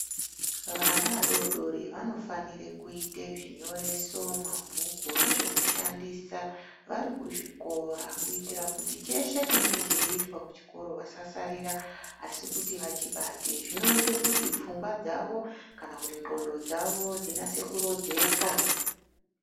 Vana vadoodori vanofanire kuite zvinyoreso, mabhuku nezvekushandisa vari kuzvikora. Kuitira kuti cheshe chinenge cheiitwa kuchikoro vasasarira asi kuti vachibate. Zvinoite kuti pfungwa dzavo kana kuti ndxondo dzavo dzinase kurodzeka.